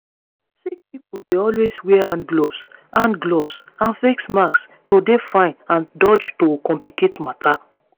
sick pipo dey always wear hand gloves hand gloves and face masks to dey fine and dodge to complicate matter